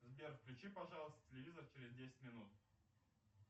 сбер включи пожалуйста телевизор через десять минут